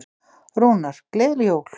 Rúnar: Gleðileg jól.